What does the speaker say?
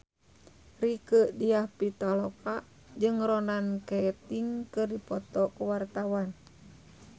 Rieke Diah Pitaloka jeung Ronan Keating keur dipoto ku wartawan